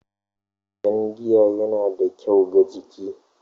Jan giya yana da kyau ga jiki